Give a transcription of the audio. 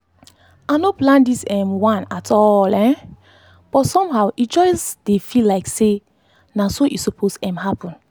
i no plan this um one at all um but somehow e just dey feel like say na so e suppose um happen.